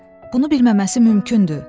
Bunu bilməməsi mümkündür.